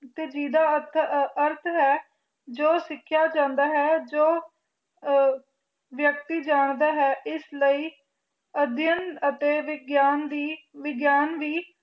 ਜਿਹਦਾ ਅਰਥ ਹੈ ਜੋ ਸਿਖਿਆ ਜਾਂਦਾ ਹੈ ਜੋ ਵਿਅਕਤੀ ਜਾਂਣਦਾ ਹੈ ਇਸ ਲਈ ਅਧਿਅਨ ਅਤੇ ਵਿਆਨ ਦੀ ਵਿਗਿਆਨ ਦੀ